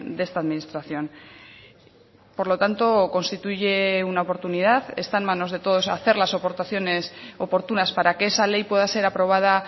de esta administración por lo tanto constituye una oportunidad está en manos de todos hacer las aportaciones oportunas para que esa ley pueda ser aprobada